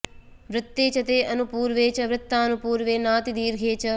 वृत्ते च ते अनुपूर्वे च वृत्तानुपूर्वे नातिदीर्धे च